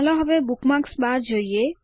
ચાલો હવે bookmarks bar જોઈએ